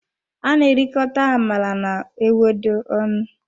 A na erikota amala na ewedu ọnụ.